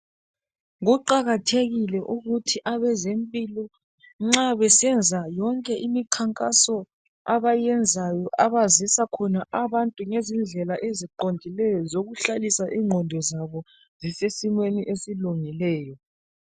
Kuqakathekile ukuthi abezempilo nxa besenza yonke imikhankaso abayenzayo abazisa khona abantu ngezindlela eziqondileyo zokuhlalisa ingqondo zabo zisesimeni esilungileyo.